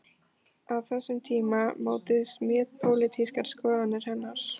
Á þessum tíma mótuðust mjög pólitískar skoðanir hennar.